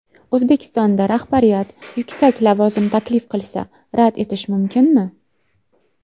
O‘zbekistonda rahbariyat yuksak lavozim taklif qilsa, rad etish mumkinmi ?